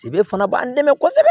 fana b'an dɛmɛ kosɛbɛ